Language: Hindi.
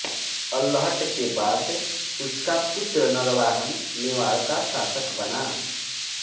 अल्हट के बाद उसका पुत्र नरवाहन मेवाड़ का शासक बना